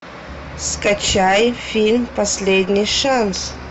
скачай фильм последний шанс